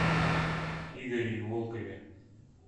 игоре волкове